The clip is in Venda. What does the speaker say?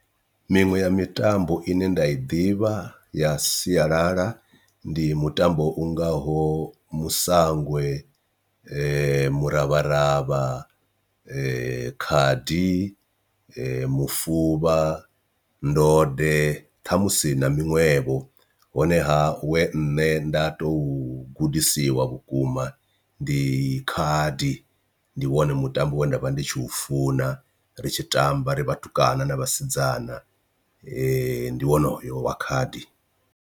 Miṅwe ya mitambo ine nda i ḓivha ya sialala ndi mutambo u ngaho musangwe, muravharavha, khadi, mufuvha, ndode ṱhamusi na miṅwevho honeha we nṋe nda to gudisiwa vhukuma ndi khadi ndi wone mutambo we nda vha ndi tshi u funa ri tshi tamba ri vhatukana na vhasidzana ndi wone une wa khadi.